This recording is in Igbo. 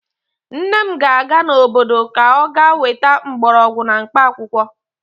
Nne m ga-aga n'obodo ka ọ ga-weta mgbọrọgwụ na mkpaakwụkwọ.